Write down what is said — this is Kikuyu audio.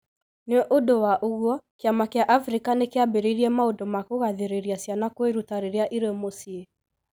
Nĩ ũndũ wa ũguo, kĩama kĩa Africa nĩ kĩambĩrĩirie maũndũ ma kũgathĩrĩria ciana kwĩruta rĩrĩa irĩ mũciĩ.